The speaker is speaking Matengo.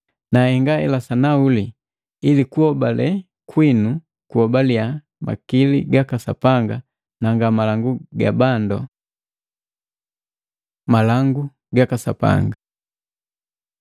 Nahenga hela sanahuli ili kuhobale kwinu kuhobaliya makili gaka Sapanga na nga malangu ga bandu. Malangu gaka Sapanga